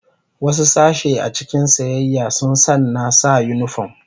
Wasu sashe a cikin siyayya sun sanna sa unifom.